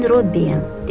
Mən Robbiyəm,